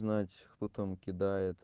знать кто там кидает